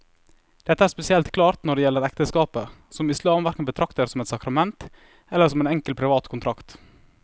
Dette er spesielt klart når det gjelder ekteskapet, som islam hverken betrakter som et sakrament eller som en enkel privat kontrakt.